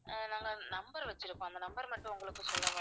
ஆஹ் நாங்க number வச்சிருக்கோம் அந்த number மட்டும் உங்களுக்கு சொல்லவா?